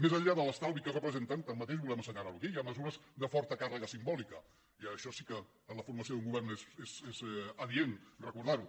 més enllà de l’estalvi que representen tanmateix volem assenyalar ho aquí hi ha mesures de forta càrrega simbòlica i això sí que en la formació d’un govern és adient recordar ho